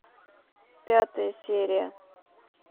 пятая серия